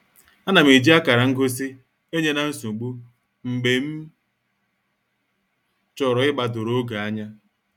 Anam eji akara ngosi enye-na-nsogbu mgbe m chọrọ igbadoro oge anya.